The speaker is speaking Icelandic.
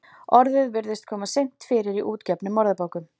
Orðið virðist kom seint fyrir í útgefnum orðabókum.